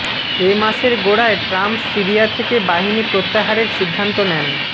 এ মাসের গোড়ায় Trump Syria থেকে বাহিনী প্রত্যাহারের সিদ্ধান্ত নেন